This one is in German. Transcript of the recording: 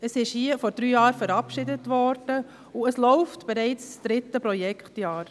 Es wurde hier vor drei Jahren verabschiedet, es läuft bereits das dritte Projektjahr.